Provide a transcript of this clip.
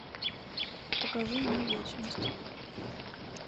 покажи мне вечность